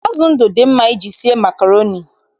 Azụ ndụ dị mma iji sie makroni